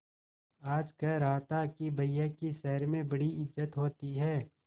आज कह रहा था कि भैया की शहर में बड़ी इज्जत होती हैं